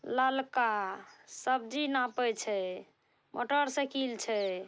ललका सब्जी नापे छै। मोटरसाइकिल छै।